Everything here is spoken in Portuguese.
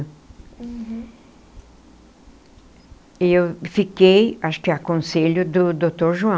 E eu fiquei, acho que a conselho do doutor João.